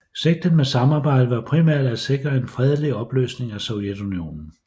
Sigtet med samarbejdet var primært at sikre en fredelig opløsning af Sovjetunionen